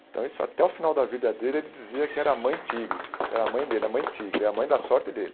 Então isso até o final da vida dele ele dizia que era a mãe tigre, era a mãe dele, a mãe tigre, a mãe da sorte dele.